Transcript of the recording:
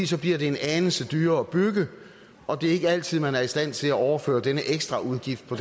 så bliver det en anelse dyrere at bygge og det er ikke altid man er i stand til at overføre denne ekstraudgift på